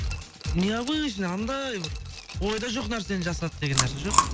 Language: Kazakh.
необычно анандай бір ойда жоқ нәрсені жасады деген нәрсе жоқ